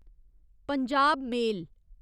Punjab मेल